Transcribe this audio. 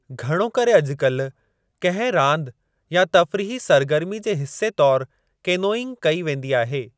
घणो करे अॼुकाल्हि कंहिं रांदि या तफ़रीही सरगर्मी जे हिस्से तौरु केनोइंग कई वेंदी आहे।